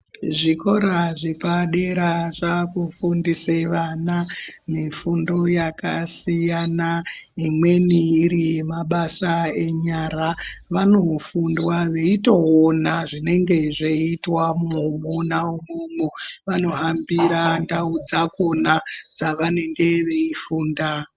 Zvikora zvepadera zvakufundise vana mifundo yakasiyana imweni iri yemabasa enyara. Vanofundwa veitoona zvinenge zveiitwa mona imwomwo vanohambira ndau dzakona pavanenge veifunda.